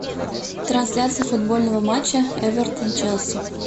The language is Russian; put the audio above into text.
трансляция футбольного матча эвертон челси